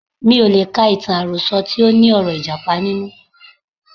Mi ò lè ka ìtàn àròsọ tí óní ọ̀rọ̀ Ìjàpá nínú.